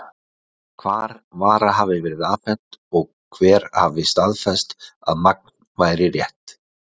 Hvar vara hafi verið afhent, og hver hafi staðfest, að magn væri rétt?